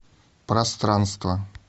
пространство